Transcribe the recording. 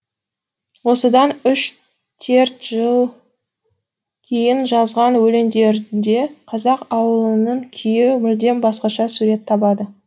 осыдан үш жыл кейін жазған өлеңдерінде қазақ ауылының күйі мүлдем басқаша сурет табады